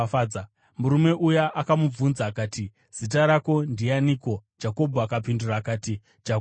Murume uya akamubvunza akati, “Zita rako ndianiko?” Jakobho akapindura akati, “Jakobho.”